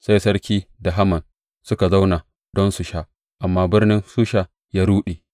Sai Sarki da Haman suka zauna don su sha, amma birnin Shusha ya ruɗe.